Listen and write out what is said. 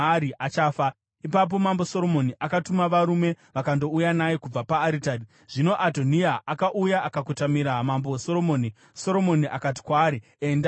Ipapo Mambo Soromoni akatuma varume vakandouya naye kubva paaritari. Zvino Adhoniya akauya akakotamira Mambo Soromoni, Soromoni akati kwaari, “Enda kumba kwako.”